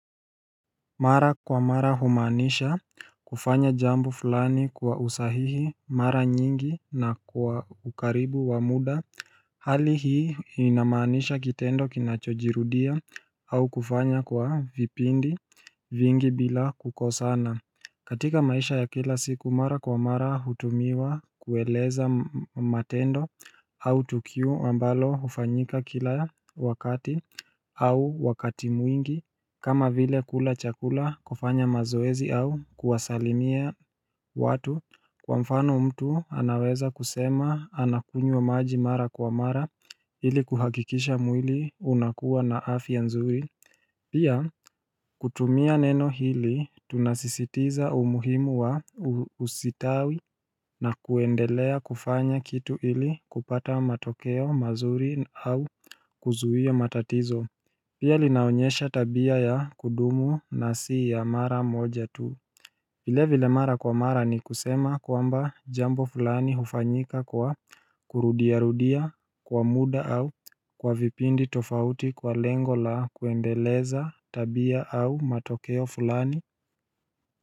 Mara kwa mara humaanisha kufanya jambo fulani kwa usahihi mara nyingi na kwa ukaribu wa muda Hali hii inamaanisha kitendo kinachojirudia au kufanya kwa vipindi vingi bila kukosana. Katika maisha ya kila siku mara kwa mara hutumiwa kueleza matendo au tukio ambalo ufanyika kila wakati au wakati mwingi kama vile kula chakula, kufanya mazoezi au kuwasalimia watu kwa mfano mtu anaweza kusema anakunywa wa maji mara kwa mara ili kuhakikisha mwili unakuwa na afya nzuri Pia kutumia neno hili tunasisitiza umuhimu wa usitawi na kuendelea kufanya kitu ili kupata matokeo mazuri au kuzuia matatizo Pia linaonyesha tabia ya kudumu na si ya mara moja tu Vilevile mara kwa mara ni kusema kwamba jambo fulani hufanyika kwa kurudiarudia kwa muda au kwa vipindi tofauti kwa lengo la kuendeleza tabia au matokeo fulani.